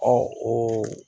Ɔ o